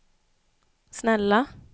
snälla